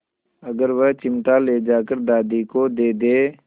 अगर वह चिमटा ले जाकर दादी को दे दे